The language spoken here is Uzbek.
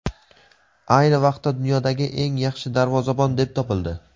ayni vaqtda dunyodagi eng yaxshi darvozabon deb topildi.